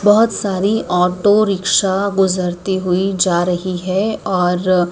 बहोत सारी auto rickshaw गुजरती हुई जा रही है और--